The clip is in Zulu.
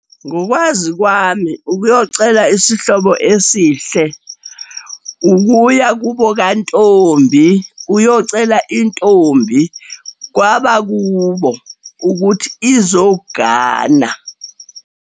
Ngokwazi kwami, ukuyocela isihlobo esihle ukuya kubo kantombi uyocela intombi kwabakubo, ukuthi izokugana.